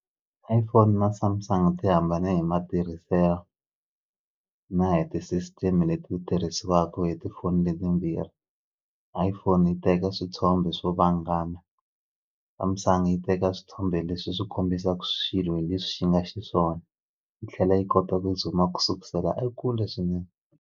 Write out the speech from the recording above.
iPhone na Samsung ti hambane hi matirhiselo na hi ti-system leti tirhisiwaku hi tifoni leti timbirhi iPhone yi teka swithombe swo vangama Samsung yi teka swithombe leswi swi kombisaku swilo hi leswi xi nga xiswona yi tlhela yi kota ku zoom-a ku sukusela ekule swinene.